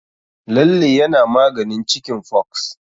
Lalle yana maganin cikin fox.